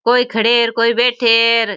कोई खड़े है कोई बैठे है।